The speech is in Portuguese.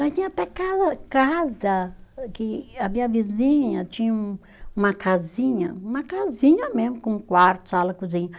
Nós tinha até casa, que a minha vizinha tinha um, uma casinha, uma casinha mesmo, com quarto, sala, cozinha.